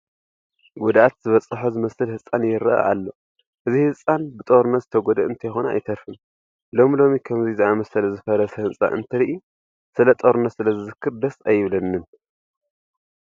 ጉድኣት ዝበፅሖ ዝመስል ህንፃ ይርአ ኣሎ፡፡ እዚ ህንፃ ብጦርነት ዝተጐድአ እንተይኮነ ኣይተርፍን፡፡ ሎሚ ሎሚ ከምዚ ዝኣምሰለ ዝፈረሰ ህንፃ እንተርኢ ስለ ጦርነት ስለዝዝክር ደስ ኣይብለንን፡፡